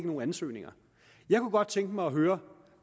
nogen ansøgninger jeg kunne godt tænke mig at høre